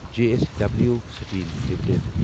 J S W steel limited